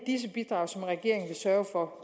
når